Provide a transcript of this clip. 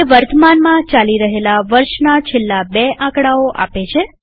તે વર્તમાનમાં ચાલી રહેલા વર્ષના છેલ્લા બે આકડાઓ આપે છે